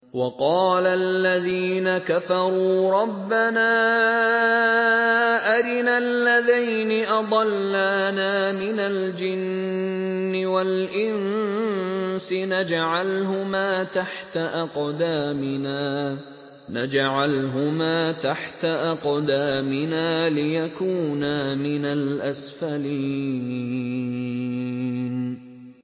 وَقَالَ الَّذِينَ كَفَرُوا رَبَّنَا أَرِنَا اللَّذَيْنِ أَضَلَّانَا مِنَ الْجِنِّ وَالْإِنسِ نَجْعَلْهُمَا تَحْتَ أَقْدَامِنَا لِيَكُونَا مِنَ الْأَسْفَلِينَ